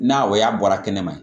N'a o y'a bɔra kɛnɛma